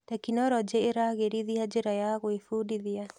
Tekinoronjĩ ĩragĩrithia njĩra ya gwĩbundithia.